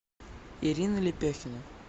ирина лепехина